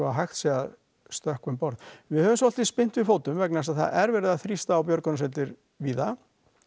hægt sé að stökkva um borð við höfum svolítið spyrnt við fótum vegna þess að það er verið að þrýsta á björgunarsveitir víða